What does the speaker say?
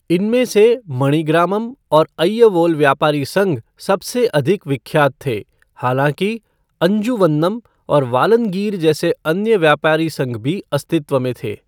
इनमें से मणिग्रामम और अय्यवोल व्यापारी संघ सबसे अधिक विख्यात थे, हालाँकि अंजुवन्नम और वालनगीर जैसे अन्य व्यापारी संघ भी अस्तित्व में थे।